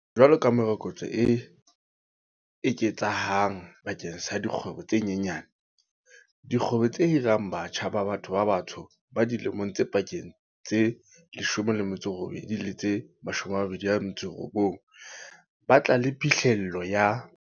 Jwalo ka morokotso o eketsehang bakeng sa dikgwebo tse nyenyane, dikgwebo tse hirang batjha ba batho ba batsho ba dilemong tse pakeng tse 18 le tse 29 ba tla ba le phihlello ya